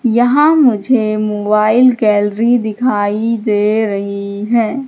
यहां मुझे mobile gallery दिखाई दे रही है।